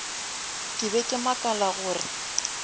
ke be ke makala gore